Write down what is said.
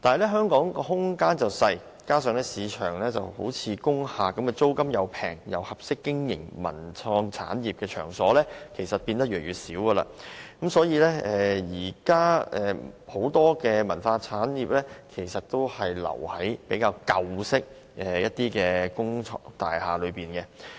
但香港空間狹小，加上在市場上租金相宜又適合經營文創產業的場所越來越少，所以很多文化產業至今仍然停留在舊式工廈中。